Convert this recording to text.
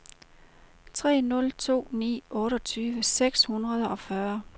tre nul to ni otteogtyve seks hundrede og fyrre